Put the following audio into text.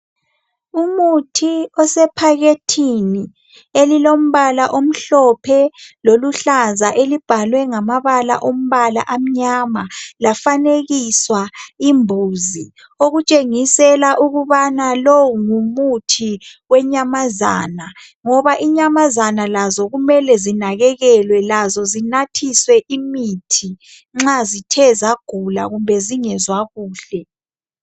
umuthi osephakethini elilombala omhlophe loluhlaza elibhalwe ngamabala alombala omnyama yafanekiswa imbuzi okutrshengisela ukubana lowu ngumuthi wenyamazana ngoba inyamazana lazo kumele zinakekelwe lazo zinathiswe imithi nxa zithe zagula kumbe zingezwa kuhle